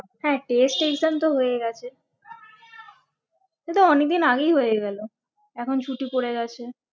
হ্যাঁ test exam তো হয়ে গেছে সে তো অনেকদিন আগেই হয়ে গেলো এখন ছুটি পরে গেছে